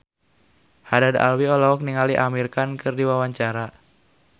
Haddad Alwi olohok ningali Amir Khan keur diwawancara